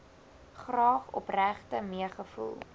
graag opregte meegevoel